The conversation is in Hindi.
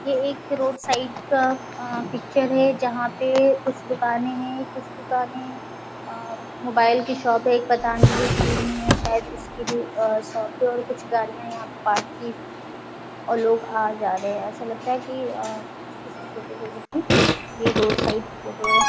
ये एक रोड साइड का अ पिक्चर है जहाँ पे कुछ दुकाने है कुछ दुकाने अ मोबाइल की शॉप है एक पतंजलि क्रीम है शायद इसकी भी अ शॉप है और कुछ गाड़ियाँ यहा पार्क की हुई है और लोग आ-जा रहे है ऐसा लगता है कि आह किसी छोटे जगह की रोड साइड फोटो है।